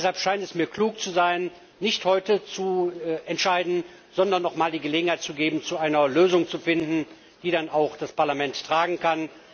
Es scheint mir sinnvoll zu sein, nicht heute zu entscheiden, sondern noch einmal die Gelegenheit zu haben, eine Lösung zu finden, die dann auch das Parlament tragen kann.